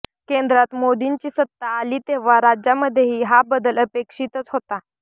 केंद्रात मोदींची सत्ता आली तेव्हा राज्यांमध्येही हा बदल अपेक्षितच होता